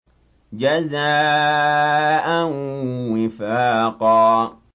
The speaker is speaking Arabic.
جَزَاءً وِفَاقًا